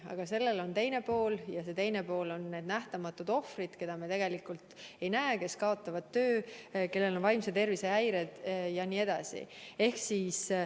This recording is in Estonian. Aga sellel on ka teine pool ja see teine pool on need nähtamatud ohvrid, keda me tegelikult ei näe, kes kaotavad töö, kellel on vaimse tervise häired ja nii edasi.